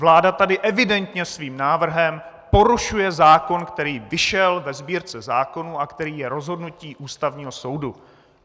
Vláda tady evidentně svým návrhem porušuje zákon, který vyšel ve Sbírce zákonů a který je rozhodnutím Ústavního soudu.